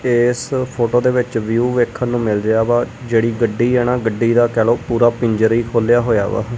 ਇਸ ਫੋਟੋ ਦੇ ਵਿੱਚ ਵਿਊ ਵੇਖਣ ਨੂੰ ਮਿਲ ਰਿਹਾ ਵਾ ਜਿਹੜੀ ਗੱਡੀ ਹੈ ਨਾ ਗੱਡੀ ਦਾ ਕਹਿ ਲਓ ਪੂਰਾ ਪਿੰਜਰ ਹੀ ਖੋਲਿਆ ਹੋਇਆ ਵਾ।